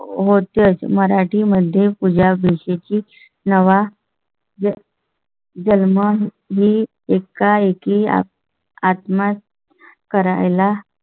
होत्याच. मराठी मध्ये पूजा भाषेची नवा जन्म ही एकाएकी आत्मा. करायला